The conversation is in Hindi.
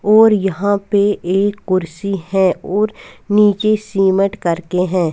और यहाँ पे एक कुर्सी है और निचे सिमट करके हैं।